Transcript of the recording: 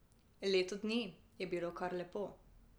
Leto dni je bilo kar lepo.